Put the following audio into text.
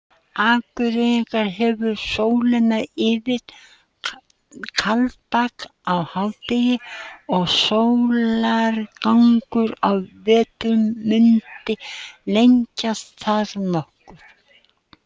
Akureyringar hefðu sólina yfir Kaldbak á hádegi og sólargangur á vetrum mundi lengjast þar nokkuð.